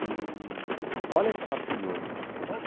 Eee olha que fato curioso.